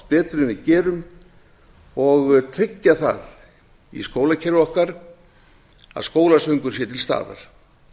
betur en við gerum og tryggja það í skólakerfi okkar að skólasöngur sé til staðar